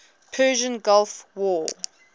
persian gulf war